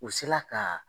U sela ka